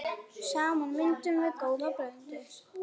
Saman myndum við góða blöndu.